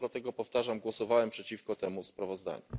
Dlatego, powtarzam, głosowałem przeciwko temu sprawozdaniu.